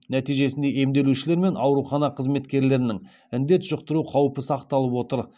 нәтижесінде емделушілер мен аурухана қызметкерлерінің індет жұқтыру қаупі сақталып отыр